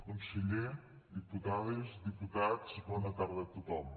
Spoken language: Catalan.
conseller diputades diputats bona tarda a tothom